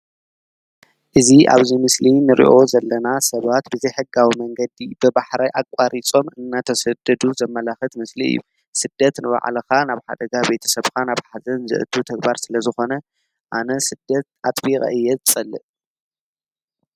እዚኣብዚ ምስሊንሪኦ ዘለናሰብትብዘይ ሕጋዊ መንገዲ ተበዕራይ ኣቃሪፆምእናተሰደዱ ዘማላክትምስሊ እዩ:: ስደትንባዕልካ ናብ ሓደጋቤተሰብካ ናብ ሃዘንዝእቱ ተግባር ስለ ዝኮነ ኣነ ስደት ኣጥቤቀእየ ዝፀልእ::